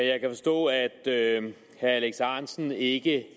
jeg kan forstå at herre alex ahrendtsen ikke